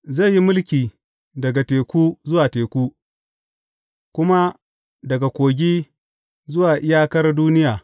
Zai yi mulki daga teku zuwa teku kuma daga Kogi zuwa iyakar duniya.